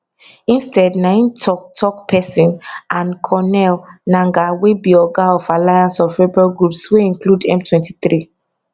instead na im toktok pesin and corneille nangaa wey be oga of alliance of rebel groups wey include m23